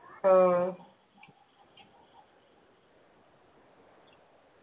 ആഹ്